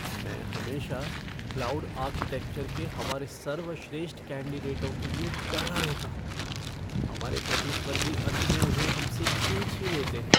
मैं हमेशा cloud architecture के हमारे सर्वश्रेष्ठ कैंडिडेटों के लिए डरा रहता हूँ। हमारे प्रतिस्पर्धी अंत में उन्हें हम से खींच ही लेते हैं।